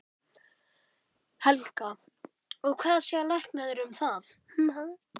Helga: Og hvað segja læknarnir um það?